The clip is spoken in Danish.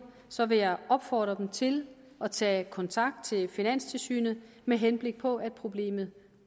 så vil jeg opfordre dem til at tage kontakt til finanstilsynet med henblik på at problemet